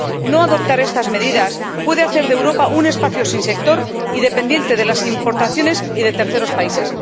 No adoptar estas medidas puede hacer de Europa un espacio sin sector y dependiente de las importaciones y de terceros países.